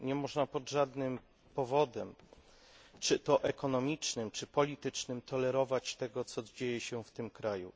Nie można pod żadnym pozorem, czy to ekonomicznym czy politycznym, tolerować tego, co dzieje się w Iranie.